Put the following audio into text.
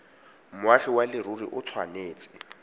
moagi wa leruri o tshwanetse